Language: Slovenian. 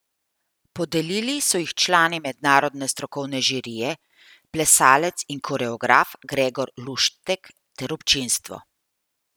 Podelili so jih člani mednarodne strokovne žirije, plesalec in koreograf Gregor Luštek ter občinstvo.